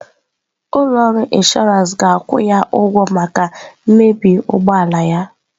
Ụlọ ọrụ inshọransị ga-akwụ ya ụgwọ maka mmebi ụgbọ ala ya.